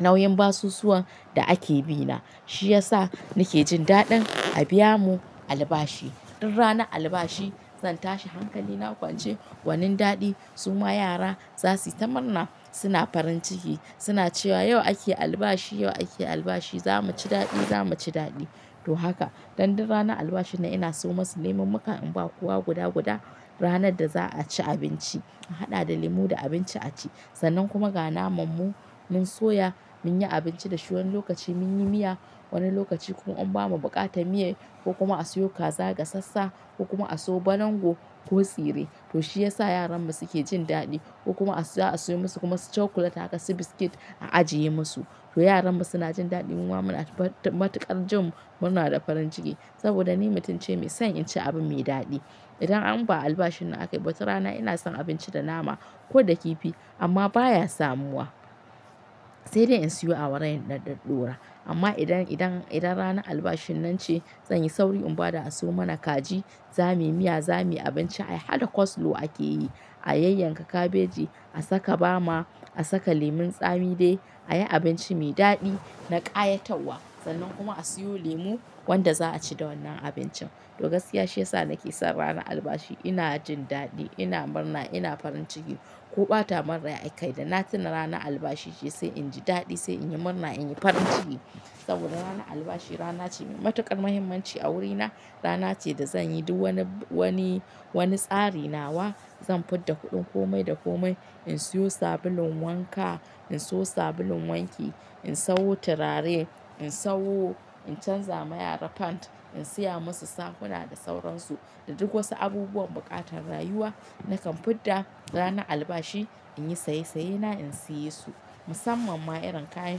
nauyin basusuwan da ake bi na. Shi yasa nake jin daɗin a biya mu albashi. Duk ranar albashi zan tashi hankali na kwance, gwanin daɗi. Suma yara za su yi ta murna suna farin ciki, suna cewa yau ake albashi, yau ake albashi, za mu ci daɗi, za mu ci daɗi. To haka. Dan duk ranar albashin nan ina suyo musu leman muka in ba kowa guda-guda ranar da za a ci abinci. In haɗa da lemu da abinci a ci, sannan kuma ga naman mu mun soya mu yi abinci da shi wani lokaci mun yi miya, wani lokaci kuma in ba ma buƙatar miya, ko kuma a siyo kaza gasassa, ko kuma a siyo balango ko tsire. To shi yasa yaran mu suke jin daɗi ko kuma a so a siyo musu kuma su chocolate haka su biscuit a ajiye musu. To yaran mu suna jin daɗi, muma muna matukar jin murna da farin ciki. Saboda ni mutum ce mai son in ci abu mai daɗi. Idan an ba albashin nan aka yi ba, wata rana ina son abinci da nama ko da kifi, amma baya samuwa. Sai dai in siyo awara in ɗaɗɗora, amma idan, idan, idan ranar albashin nan ce zan yi sauri in bada a siyo mana kaji, zamu yi miya zamu yi abinci ai haɗa coleslaw ake yi. A yayyanka kabeji, a saka bama, a saka lemun tsami dai a yi abinci mai daɗi na ƙayatarwa. Sannan kuma a siyo lemu wanda za a ci da wannan abincin. To gaskiya shi yasa nake son ranar albashi. Ina jin daɗi, ina murna, ina farin ciki. Ko ɓata mun rai akai da na tuna rana albashi ce sai in ji daɗi sai in yi murna in yi farin ciki. Saboda rana albashi rana ce mai matuƙar muhimmanci a wurina. Rana ce da zan yi duk wani, wani, wani tsari nawa zan fud da kuɗin komai da komai. In siyo sabulun wanka, in siyo sabulun wanki, in sawo turare, in sawo in canza ma yara pant, in siya musu sakona da sauransu. Da duk wasu abubuwan buƙatar rayuwa nakan fidda rana albashi in yi saye sayena in siye su. Musamman ma irin kayan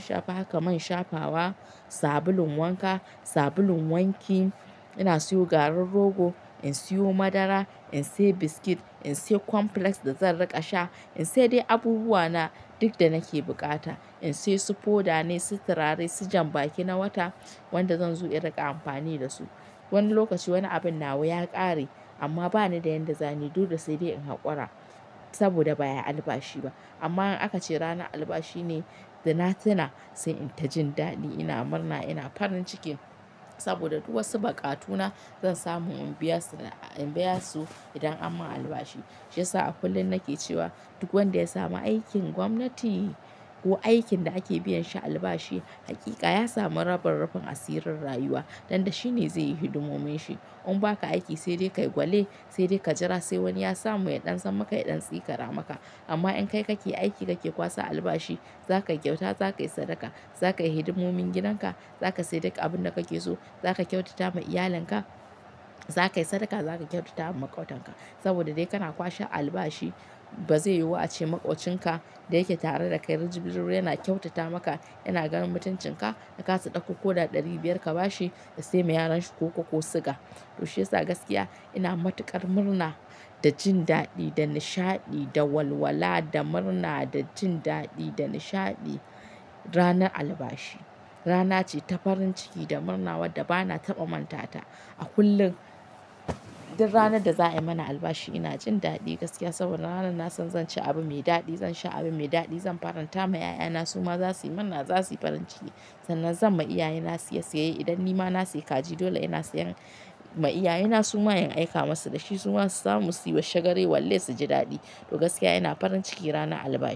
shafa haka man shafawa, sabulun wanka, sabulun wanki. Ina siyo garin rogo, in siyo madara, in siya biscuit, in siya cornflakes da zan riƙa sha. In siya dai abubuwa na duk da nake bukata. In siya su foda ne, su turare, su janbaki na wata wanda zan zo in riƙa amfani da su. Wani lokaci wani abin nawa ya ƙare, amma bani da yan da zani duk da sai dai in haƙura, saboda ba ayi albashi ba. Amma in aka ce rana albashi, ne da na tuna sai in ta jin daɗi ina murna ina farin ciki. Saboda duk wasu buƙatuna zan samu in biya su, in biya su, idan an mun albashi. Shi yasa a kullum nake cewa duk wanda ya samu aikin gwamnati, ko aikin da ake biyan shi albashi haƙiƙa ya samu rabin rufin asirin rayuwa. Dan da shine zai yi hidimomin shi. In ba ka aiki sai dai ka yi kwale, sai dai ka jira sai wani ya samu ya ɗan sammaka ya ɗan tsikara maka. Amma in kai kake aiki kake kwasa albashi, za kai kyauta, za ka yi sadaka, za ka yi hidimomin gidan ka, za ka sai duk abin da kake so, za ka kyautata ma iyalin ka, za ka yi sadaka za ka kyautata ma maƙautanka. Saboda dai kana kwashe albashi ba zai yiwu ace maƙocin ka da yake tare da kai rijibirin yana kyautata maka yana ganin mutuncin ka da ka sa ɗaukan koda ɗari biyar ka ba shi, da sai ma yaran shi koko ko siga. To shi yasa gaskiya ina matuƙar murna da jin daɗi da nishaɗi da walwala da murna da jin daɗi da nishaɗi, rana albashi. Rana ce ta farin ciki da murna wadda ba na taɓa mantata a kullum. Duk ranar da za a yi mana albashi ina jin daɗi gaskiya saboda ranar na san zan ci abu mai daɗi, zan sha abu mai daɗi, zan faranta ma 'ya'ya na suma za su yi murna za su yi farin ciki. Sannan zan ma iyaye na siya siyayye idan nima na siya kaji dole ina siyan, ma iyaye na suma in aika masu da shi suma su samu su yi washagare walle su ji daɗi. To gaskiya ina farin ciki rana albashi.